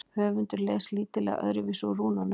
höfundur les lítillega öðruvísi úr rúnunum